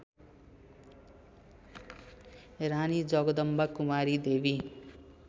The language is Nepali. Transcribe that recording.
रानी जगदम्बाकुमारी देवी